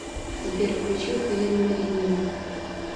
сбер включи хелен маринину